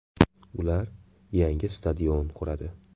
Ular yangi stadion quradi.